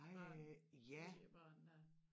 Børn svigerbørn dér